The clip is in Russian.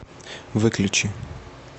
выключи